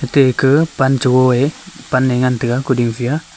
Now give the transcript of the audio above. ate ake pancho go a pan a ngan tega kuding ji a.